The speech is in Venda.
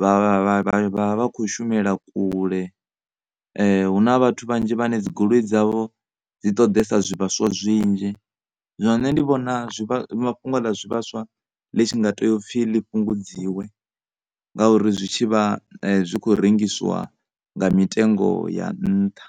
vha, vha, vha, vha kho shumela kule hu na vhathu vhanzhi vhane dzi goli dzavho dzi ṱoḓesa zwi vhaswa zwinzhi. Zwino nṋe ndi vhona fhungo ḽa zwivhaswa ḽi tshi nga tea u pfhi ḽi fhungudziwe ngauri zwi tshi vha zwi kho rengisiwa nga mitengo ya nṱha.